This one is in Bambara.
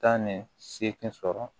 Tan ni seegin sɔrɔ